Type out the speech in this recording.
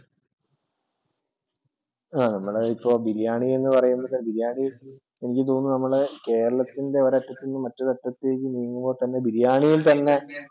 ആ നമ്മള് ഇപ്പോൾ ബിരിയാണി എന്ന് പറയുമ്പോൾ ബിരിയാണി എനിക്ക് തോന്നുന്നു നമ്മടെ കേരളത്തിൻ്റെ ഒരു അറ്റത്തൂന്നു മറ്റേ അറ്റത്തേക്ക് നീങ്ങുമ്പോൾ തന്നെ ബിരിയാണിയിൽ തന്നെ